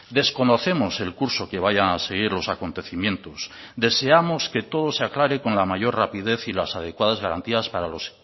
desconocemos el curso que vayan a seguir los acontecimientos deseamos que todo se aclare con la mayor rapidez y las adecuadas garantías para los